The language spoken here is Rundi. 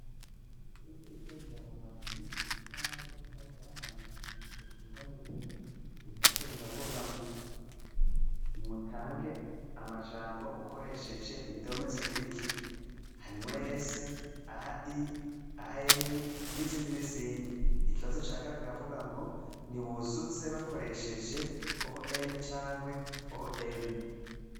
Kw'ishure ritoyi rya Buhwamyi, ku kibaho cirabura harandikishije ingwa yera, ibibazo biravuga ngo nimutange amajambo ukoresheje indome zikurikira, harimwo "s", "ai", "an", n'izindi n'izindi, ikibazo ca kabiri kiravuga ngo ni buzuze bakoresheje "on" cankwe "om".